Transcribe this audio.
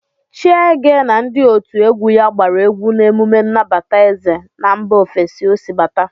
Chiege na ndị otu egwu ya gbara egwu na emume nnabata eze na mba ofesi ọ si bata.